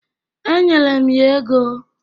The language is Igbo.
Enyere m ya ego.